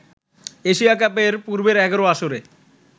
Asia কাপের পূর্বের ১১ আসরে